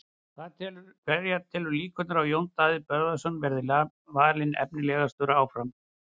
Hverja telurðu líkurnar á því að Jón Daði Böðvarsson sem valinn var efnilegastur verði áfram?